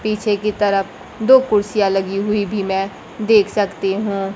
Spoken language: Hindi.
पीछे की तरफ दो कुर्सियां लगी हुई भी मैं देख सकती हूं।